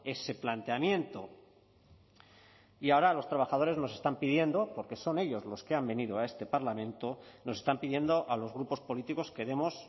ese planteamiento y ahora los trabajadores nos están pidiendo porque son ellos los que han venido a este parlamento nos están pidiendo a los grupos políticos que demos